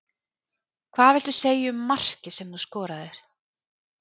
Hvað viltu segja um markið sem þú skoraðir?